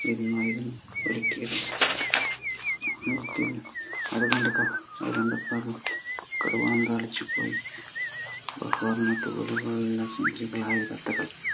വിരുന്നായിരുന്നു ഒരുക്കിയത് കടുവ അന്താളിച്ചു പോയി സുന്ദരികളായ തത്തകൾ